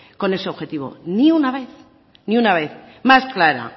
con ese objetivo ni una vez más clara